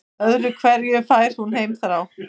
Öðru hverju fær hún heimþrá.